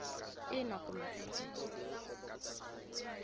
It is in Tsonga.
ina kumbe e e